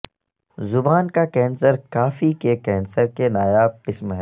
زبان کا کینسر کافی کے کینسر کی نایاب قسم ہے